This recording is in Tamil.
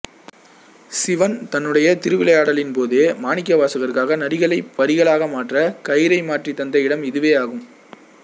சிவன் தன்னுடைய திருவிளையாடலின்போது மாணிக்கவாசகருக்காக நரிகளை பரிகளாக மாற்ற கயிறை மாற்றித் தந்த இடம் இதுவே ஆகும்